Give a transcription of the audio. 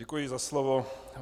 Děkuji za slovo.